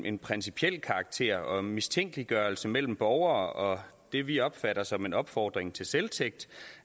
en principiel karakter og mistænkeliggørelse mellem borgere det vi opfatter som en opfordring til selvtægt